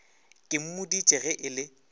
ke mmoditše ge e le